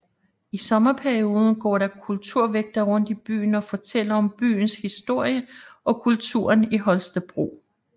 I sommerperioden går der kulturvægtere rundt i byen og fortæller om byens historie og kulturen i Holstebro